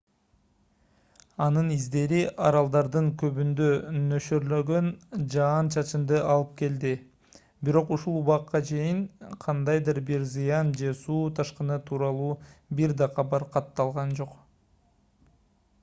анын издери аралдардын көбүндө нөшөрлөгөн жаан-чачынды алып келди бирок ушул убакка чейин кандайдыр бир зыян же суу ташкыны тууралуу бир да кабар катталган жок